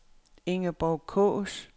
Ingeborg Kaas